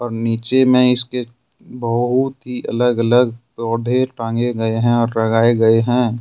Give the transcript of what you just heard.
और नीचे में इसके बहुत ही अलग अलग पौधे टांगे गए हैं और लगाए गए हैं।